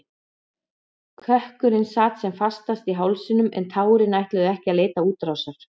Kökkurinn sat sem fastast í hálsinum en tárin ætluðu ekki að leita útrásar.